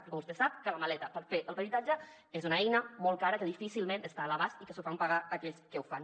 perquè vostè sap que la maleta per fer el peritatge és una eina molt cara que difícilment està a l’abast i que s’ho fan pagar aquells que ho fan